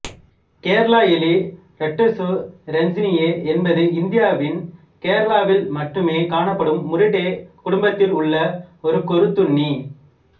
கேரள எலி ராட்டசு ரஞ்சினியே என்பது இந்தியாவின் கேரளாவில் மட்டுமே காணப்படும் முரிடே குடும்பத்தில் உள்ள ஒரு கொறித்துண்ணி